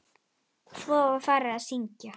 Svo var farið að syngja.